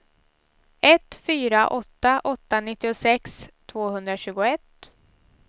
ett fyra åtta åtta nittiosex tvåhundratjugoett